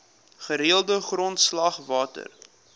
gereelde grondslag water